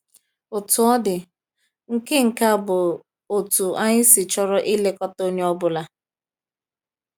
Otú ọ dị, nke nke a bụ otú anyị si chọrọ ilekọta onye ọ bụla.